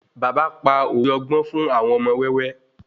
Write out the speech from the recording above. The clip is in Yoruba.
Bàbá pa òwe ọgbọ́n fun àwọn ọmọ wẹ́wẹ́